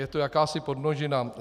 Je to jakási podmnožina.